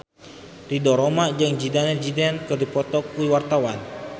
Ridho Roma jeung Zidane Zidane keur dipoto ku wartawan